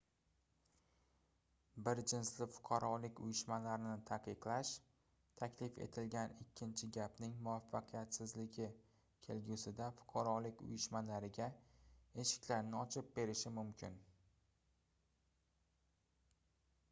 bir jinsli fuqarolik uyushmalarini taqiqlash taklif etilgan ikkinchi gapning muvvaffaqiyatsizligi kelgusida fuqarolik uyushmalariga eshiklarni ochib berishi mumkin